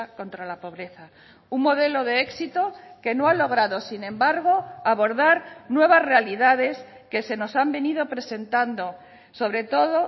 contra la pobreza un modelo de éxito que no ha logrado sin embargo abordar nuevas realidades que se nos han venido presentando sobre todo